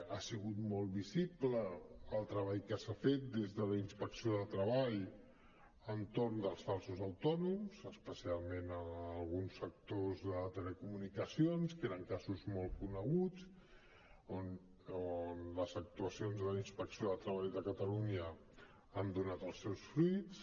ha sigut molt visible el treball que s’ha fet des de la inspecció de treball entorn dels falsos autònoms especialment en alguns sectors de telecomunicacions que eren casos molt coneguts on les actuacions de la inspecció de treball de catalunya han donat els seus fruits